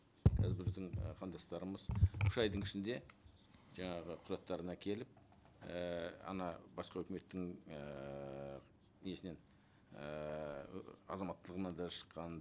қазір біздің і қандастарымыз үш айдың ішінде жаңағы құжаттарын әкеліп ііі ана басқа өкіметтің ііі несінен ііі азаматтылығынан да шыққанын